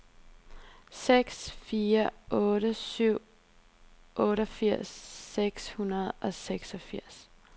seks fire otte syv otteogfirs seks hundrede og seksogfirs